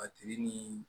A tigi ni